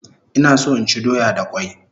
Ina so inchi doya da kwai